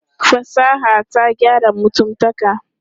Fasaha ta gyara mutumtaka.